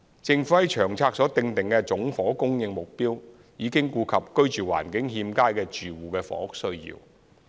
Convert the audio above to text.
政府在《長策》所訂的總房屋供應目標已顧及居住環境欠佳的住戶的房屋需要。